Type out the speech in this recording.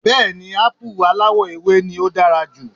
Bẹ́ẹ̀ni Ápù aláwọ̀ ewé náà ló dára jù